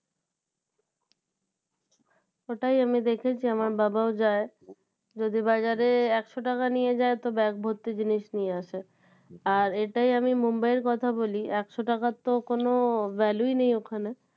ওটাই আমি দেখেছি আমার বাবাও যায় যদি বাজারে একশো টাকা নিয়ে যায় তো ব্যাগ ভর্তি জিনিস নিয়ে আসে আর এটাই আমি Mumbai এর কথা বলি একশো টাকার তো কোনো value ই নেই ওখানে।